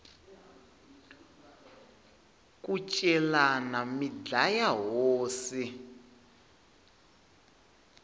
ku celani mi dlaya hosi